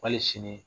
Wali sini